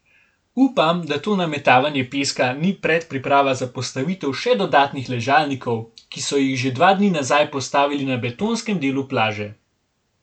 Upam, da to nametavanje peska ni predpriprava za postavitev še dodatnih ležalnikov, ki so jih že dva dni nazaj postavili na betonskem delu plaže.